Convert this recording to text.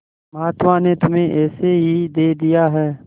महात्मा ने तुम्हें ऐसे ही दे दिया है